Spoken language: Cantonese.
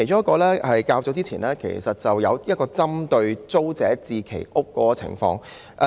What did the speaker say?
較早前，有一則針對租者置其屋計劃的報道。